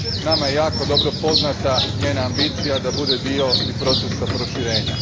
Nama je jako dobro poznata njena ambicija da bude dio i procesa proširenja.